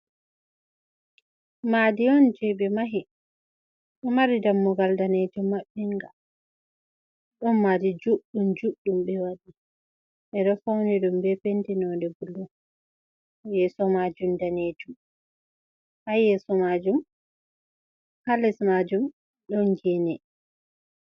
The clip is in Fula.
madi on je ɓe mahi ɗo mari dammugal danejum maɓɓiinga, don madi juɗɗum juɗɗum ɓe waɗi, ɓe ɗo fauni ɗum ɓe penti nonde bulu, yeso majum danejum, ha les majum ɗon gene